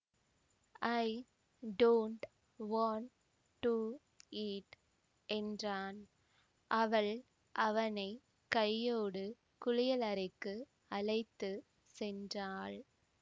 I don't want to eat என்றான் அவள் அவனை கையோடு குளியலறைக்கு அழைத்து சென்றாள்